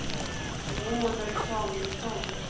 Robert Samuelsson